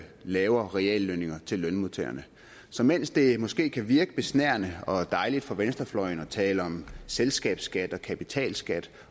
lavere reallønninger til lønmodtagerne så mens det måske kan virke besnærende og dejligt for venstrefløjen at tale om selskabsskat og kapitalskat